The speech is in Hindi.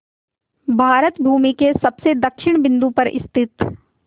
भारत भूमि के सबसे दक्षिण बिंदु पर स्थित